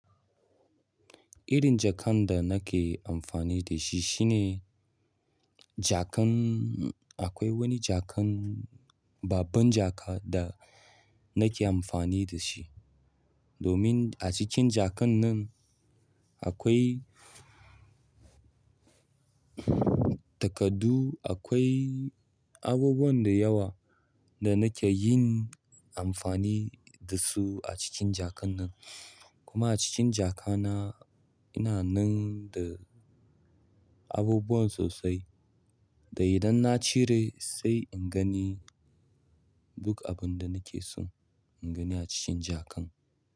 Irin jakan da nake amfani da shi shine jakan, akwai wani jakan, babban jaka da nake amfani da shi. Domin a cikin jakan nan akwai takardu, akwai abubuwan da yawa da nake yin amfani da su a cikin jakan nan. Kuma a cikin jaka na ina nan da abubuwa sosai. Da idan na cire sai in gani duk abun da nake so in gani a cikin jakan.